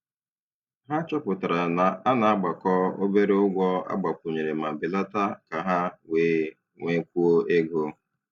Ha chọpụtara na a na-agbakọ obere ụgwọ agbakwunyere ma belata ka ha wee nwekwuo ego.